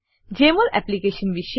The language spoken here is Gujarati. જમોલ એપ્લીકેશન વિશે